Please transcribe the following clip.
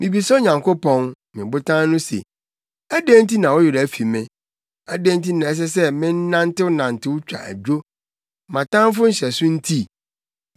Mibisa Onyankopɔn, me Botan no se, “Adɛn nti na wo werɛ afi me? Adɛn nti na ɛsɛ sɛ menantenantew twa adwo, mʼatamfo nhyɛso nti?”